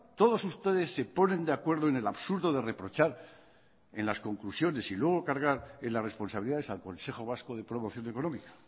todos ustedes se ponen de acuerdo en el absurdo de reprochar en las conclusiones y luego cargar en las responsabilidades al consejo vasco de promoción económica